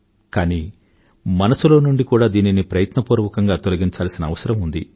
కానీ మనసులో నుండి కూడా దీనిని ప్రయత్నపూర్వకంగా తొలగించాల్సిన అవసరం ఉంది